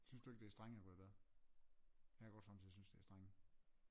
Synes du ikke det er streng at gå i bad jeg går somme tider og synes det er streng